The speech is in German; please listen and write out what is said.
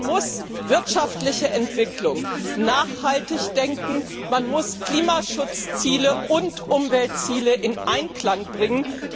Man muss wirtschaftliche Entwicklung nachhaltig denken, man muss Klimaschutzziele und Umweltziele in Einklang bringen!